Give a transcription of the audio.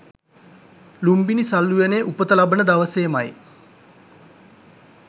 ලූම්බිණි සල් උයනේ උපත ලබන දවසේමයි